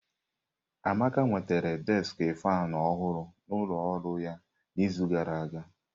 Amaka nwetara deski faanụ ọhụrụ n'ụlọ ọrụ ya n'izu gara aga.